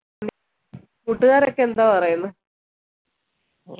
കൂട്ടുകാരൊക്കെ എന്തോ പറീന്ന്